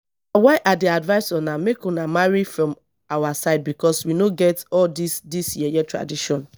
why i dey advise una make una marry from our side because we no get all dis dis yeye tradition